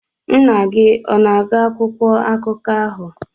Nna gị ọ na-agụ akwụkwọ akụkọ ahụ?